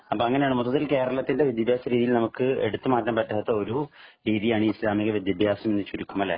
അപ്പൊ അങ്ങനെയാണ് മൊത്തത്തിൽ കേരളത്തിന്റെ വിദ്യാഭ്യാസ രീതിയിൽ നമ്മുക്ക് ഒരിക്കലും എടുത്തു മാറ്റാൻ പറ്റാത്ത ഒരു രീതിയാണ് ഈ ഇസ്ലാമിക വിദ്യാഭ്യാസ രീതി എന്ന് ചുരുക്കം അല്ലെ